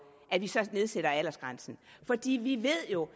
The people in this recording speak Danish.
nedsætter vi aldersgrænsen vi ved jo